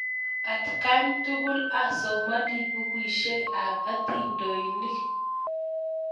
Atkan tukul asomani pukuisyek ap atindyonik